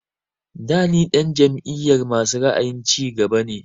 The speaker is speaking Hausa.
Da ni ɗan jam'iyar masu ra'ayin cigaba ne